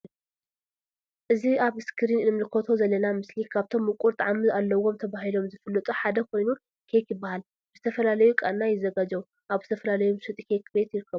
እዚ አብ እስክሪን እንምልከቶ ዘለና ምስሊ ካብቶም ሙቁር ጣዕሚ አለዎም ተባሂሎም ዝፍለጡ ሓደ ኮይኑ ኬክ ይበሃል ብዝተፈላለዩ ቃና ይዘጋጀው አብ ዝተፈላለዩ መሸጢ ኬክ ቤት ንረክቦ::